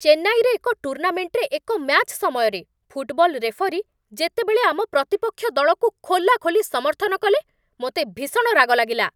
ଚେନ୍ନାଇରେ ଏକ ଟୁର୍ଣ୍ଣାମେଣ୍ଟରେ ଏକ ମ୍ୟାଚ୍ ସମୟରେ, ଫୁଟବଲ ରେଫରୀ ଯେତେବେଳେ ଆମ ପ୍ରତିପକ୍ଷ ଦଳକୁ ଖୋଲାଖୋଲି ସମର୍ଥନ କଲେ, ମୋତେ ଭୀଷଣ ରାଗଲାଗିଲା।